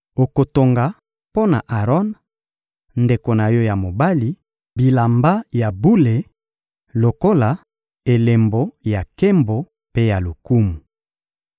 Okotonga mpo na Aron, ndeko na yo ya mobali, bilamba ya bule lokola elembo ya nkembo mpe ya lokumu.